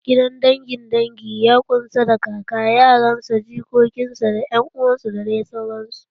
Gidan dangin dangi ya ƙunshi da kaka, yaran sa, jikokin sa, da ƴan uwan sa da dai sauransu.